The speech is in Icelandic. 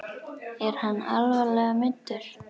Er hann alvarlega meiddur?